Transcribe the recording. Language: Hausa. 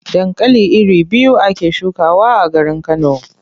Dankali iri biyu ake shukawa a garin Kano.